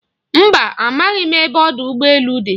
Mba, amaghị m ebe ọdụ ụgbọ elu dị.